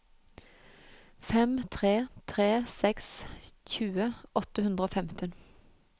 fem tre tre seks tjue åtte hundre og femten